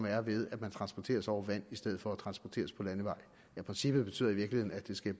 er ved at transportere sig over vand i stedet for at transportere sig på landevej princippet betyder i virkeligheden at det skal